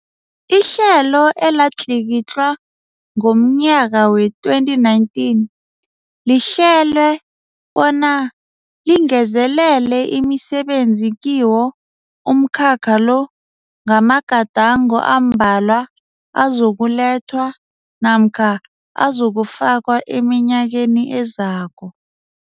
Ihlelo elatlikitlwa ngomnyaka wee-2019, lihlelwe bona lingezelele imisebenzi kiwo umkhakha lo ngamagadango ambalwa azokulethwa namkha azokufakwa eminyakeni ezako.